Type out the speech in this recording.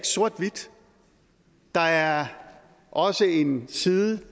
sort hvidt der er også en side